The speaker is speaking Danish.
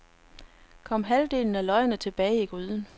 Kom halvdelen af løgene tilbage i gryden.